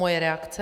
Moje reakce.